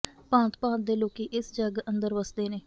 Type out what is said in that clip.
ਭਾਂਤ ਭਾਂਤ ਦੇ ਲੋਕੀਂ ਇਸ ਜੱਗ ਅੰਦਰ ਵੱਸਦੇ ਨੇ